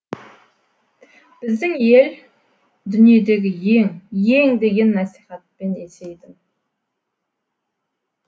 біздің ел дүниедегі ең ең деген насихатпен есейдім